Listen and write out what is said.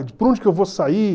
Por onde que eu vou sair?